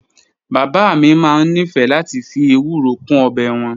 Bàbá mi máa ń nífẹ̀ẹ́ láti fi ewuro kún ọbẹ̀ wọn